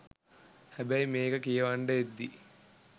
හැබැයි මේක කියවන්ඩ එද්දි